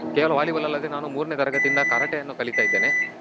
ಕೇವಲ Volleyball ಅಲ್ಲದೆ ನಾನು ಮೂರ್ನೆ ತರಗತಿಯಿಂದ Karate ಯನ್ನು ಕಲಿತಾ ಇದ್ದೇನೆ.